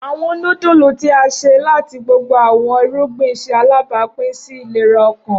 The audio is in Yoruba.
Awọn nudulu ti a ṣe lati gbogbo awọn irugbin ṣe alabapin si ilera ọkan.